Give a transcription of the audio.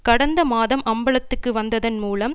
கடந்த மாதம் அம்பலத்துக்கு வந்ததன் மூலம்